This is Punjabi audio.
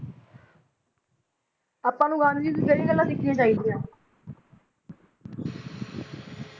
ਆਪਾਂ ਨੂੰ ਗਾਂਧੀ ਜੀ ਤੋਂ ਕਿਹੜੀਆਂ ਗੱਲਾਂ ਸਿੱਖਣੀਆਂ ਚਾਹੀਦੀਆਂ